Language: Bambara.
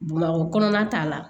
Bamakɔ kɔnɔna ta la